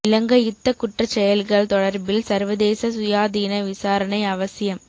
இலங்கை யுத்தக் குற்றச் செயல்கள் தொடர்பில் சர்வதேச சுயாதீன விசாரணை அவசியம்